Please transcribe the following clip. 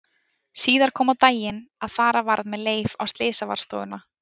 Síðar kom á daginn að fara varð með Leif á Slysavarðstofuna.